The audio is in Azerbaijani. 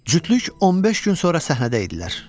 Cütlük 15 gün sonra səhnədə idilər.